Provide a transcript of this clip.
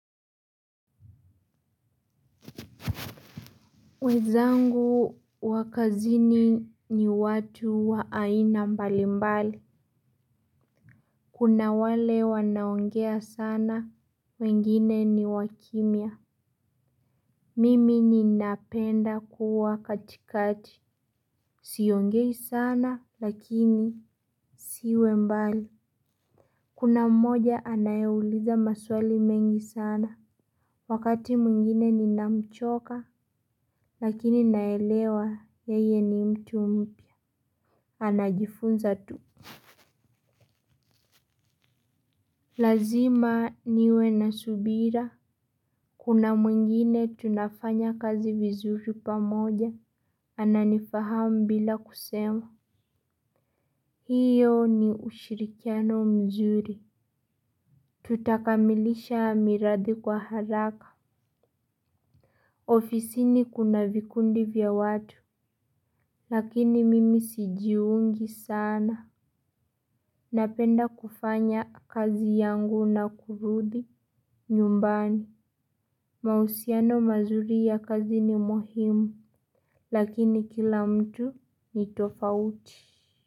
Wenzangu wa kazini ni watu wa aina mbali mbali. Kuna wale wanao ongea sana wengine ni wa kimya. Mimi ninapenda kuwa katikati. Siongei sana lakini siwe mbali. Kuna mmoja anayeuliza maswali mengi sana. Wakati mwingine ninamchoka lakini naelewa yeye ni mtu mpya anajifunza tu. Lazima niwe na subira. Kuna mwingine tunafanya kazi vizuri pamoja. Ananifahamu bila kusema hiyo ni ushirikiano mzuri. Tutakamilisha mirathi kwa haraka. Ofisini kuna vikundi vya watu. Lakini mimi sijiungi sana. Napenda kufanya kazi yangu na kurudi Nyumbani. Mahusiano mazuri ya kazi ni muhimu lakini kila mtu ni tofauti.